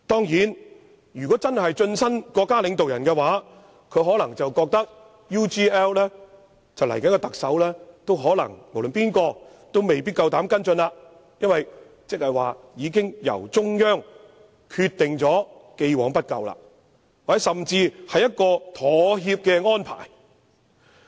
如果他真的晉身國家領導人，他可能會認為無論誰是下任特首，都未必膽敢跟進 UGL 事件，因這代表中央已決定既往不究，或甚至是一個妥協的安排。